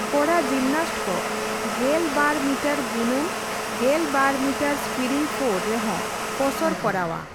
ᱠᱚᱲᱟ ᱡᱤᱢᱱᱟᱥᱴ ᱠᱚ ᱑᱒ ᱢᱤᱴᱟᱨ ᱜᱩᱱᱟᱹᱱ ᱑᱒ ᱢᱤᱴᱟᱨ ᱥᱯᱤᱨᱤᱝ ᱯᱷᱳᱨ ᱨᱮᱦᱚᱸ ᱠᱚᱥᱚᱨᱚ ᱠᱚᱨᱟᱣᱼᱟ ᱾